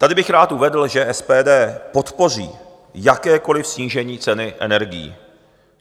Tady bych rád uvedl, že SPD podpoří jakékoliv snížení ceny energií.